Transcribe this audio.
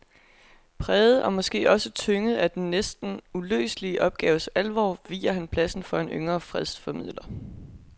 Præget og måske også tynget af den næsten uløselige opgaves alvor viger han pladsen for en yngre fredsformidler.